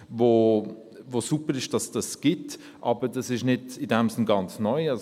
Es ist super, dass es das gibt, aber es ist in diesem Sinne nicht ganz neu;